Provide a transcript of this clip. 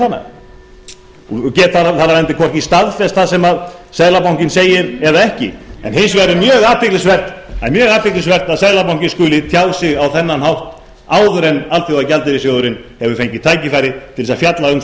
hana og get þar af leiðandi hvorki staðfest það sem seðlabankinn segir eða ekki en hins vegar er mjög athyglisvert að seðlabankinn skuli tjá sig á þennan hátt áður en alþjóðagjaldeyrissjóðurinn hefur fengið tækifæri til að fjalla um þá áætlun